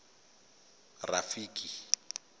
rafiki